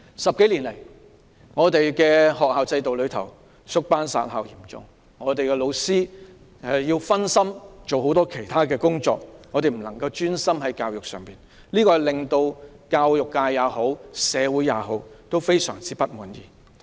十多年來，學校經歷嚴重的縮班、"殺校"，老師要分心負責很多其他工作，不能專心教學，令教育界及社會非常不滿。